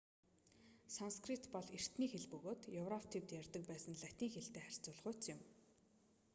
санскрит бол эртний хэл бөгөөд европ тивд ярьдаг байсан латин хэлтэй харьцуулахуйц юм